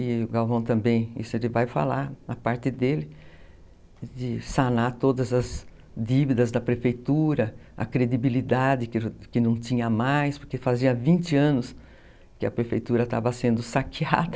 E o Galvão também, isso ele vai falar na parte dele, de sanar todas as dívidas da prefeitura, a credibilidade que não tinha mais, porque fazia vinte anos que a prefeitura estava sendo saqueada.